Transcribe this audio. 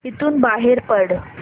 इथून बाहेर पड